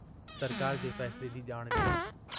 सरकार जे फ़ैसिले जी जाण डिनी।